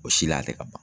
O si la a tɛ ka ban